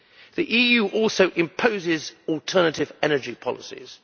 The EU also imposes alternative energy policies.